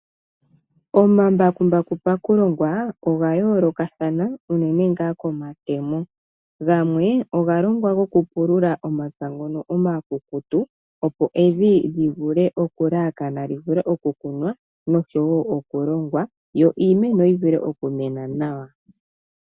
Omambakumbaku pakulongwa oga yoolokathana unene ngaa komatemo, gamwe oga longwa gokupulula omapya ngono omakukutu opo evi li vule okulalakana li vule okukunwa nosho woo okulongwa, yo iimeno yi vule okumena nawa.